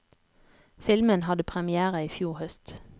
Filmen hadde première i fjor høst.